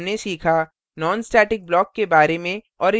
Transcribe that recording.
इस tutorial में हमने सीखा